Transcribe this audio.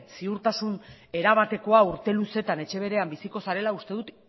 ziurtasun erabateko urte luzeetan etxe berean biziko zarela uste dut